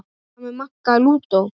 Hvað með Magga lúdó?